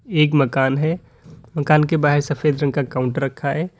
एक मकान है मकान के बाहर सफेद रंग का काउंटर रखा है।